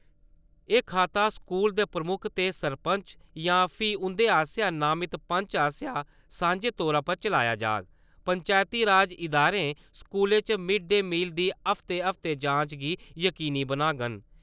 एह् खाता स्कूल दे प्रमुक्ख ते सरपंच जां फ्ही उं'दे आसेआ नामित पंच आसेआ सांझे तौरा पर चलाया जाह्ग। पंचैती राज इदारें स्कूले च मिड-डे मील दी हफ्ते-हफ्ते जांच गी जकीनी बनाङन।